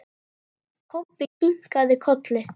Kobbi kinkaði kolli.